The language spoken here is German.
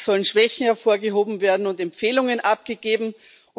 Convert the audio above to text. es sollen Schwächen hervorgehoben und Empfehlungen abgegeben werden.